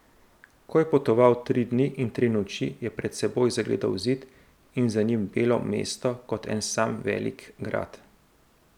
Ko je potoval tri dni in tri noči, je pred seboj zagledal zid in za njim belo mesto kot en sam velik grad.